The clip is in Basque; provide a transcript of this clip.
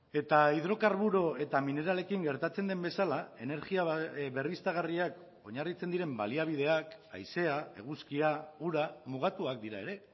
eta hidrokarburo eta mineralekin gertatzen den bezala energia berriztagarriak oinarritzen diren baliabideak haizea eguzkia ura mugatuak dira ere